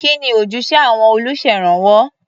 Kí ni ojúṣe àwọn olùṣèrànwọ́?